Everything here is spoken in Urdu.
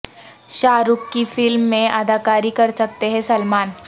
شاہ رخ کی فلم میں اداکاری کرسکتے ہیں سلمان